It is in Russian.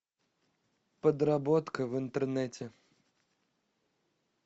подработка в интернете